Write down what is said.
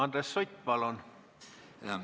Andres Sutt, palun!